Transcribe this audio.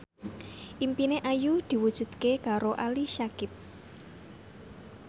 impine Ayu diwujudke karo Ali Syakieb